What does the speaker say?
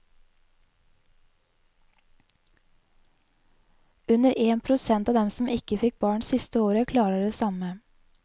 Under én prosent av dem som ikke fikk barn siste året, klarer det samme.